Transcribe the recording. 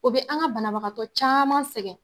O be an ka banabagatɔ caman sɛgɛn.